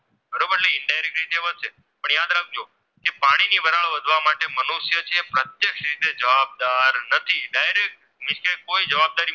કારણ વધવા માટે તે પ્રત્યક્ષ રીતે જવાબદાર નથી Direct નીચે કોઈ જવાબદારી